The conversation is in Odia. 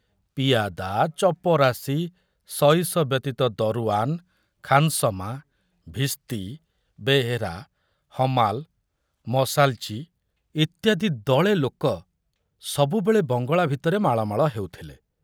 ପିଆଦା, ଚପରାଶି, ସଇସ ବ୍ୟତୀତ ଦରୁଆନ, ଖାନସମା, ଭିସ୍ତି, ବେହେରା, ହମାଲ, ମସାଲଚି ଇତ୍ୟାଦି ଦଳେ ଲୋକ ସବୁବେଳେ ବଙ୍ଗଳା ଭିତରେ ମାଳମାଳ ହେଉଥିଲେ।